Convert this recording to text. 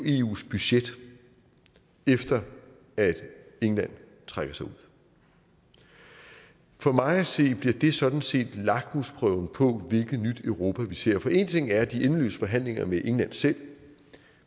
eus budget efter at england trækker sig ud for mig at se bliver det sådan set lakmusprøven på hvilket nyt europa vi ser for én ting er de endeløse forhandlinger med england selv